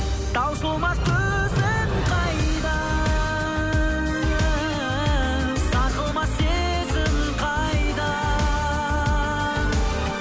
таусылмас төзім қайда сарқылмас сезім қайда